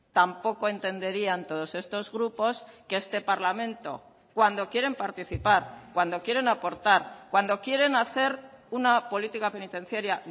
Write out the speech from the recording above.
tampoco entenderían todos estos grupos que este parlamento cuando quieren participar cuando quieren aportar cuando quieren hacer una política penitenciaria